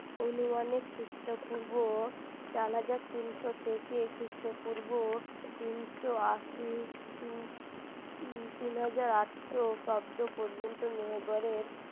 অনুমানিক খ্রিস্টপূর্ব চার হাজার তিনশো থেকে খ্রিস্টপূর্ব তিনশো আশি তিন উম তিন হাজার আটশো অব্দ পর্যন্ত মেহের গড়ের